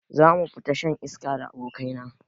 Zamu fita shan iska da abokai na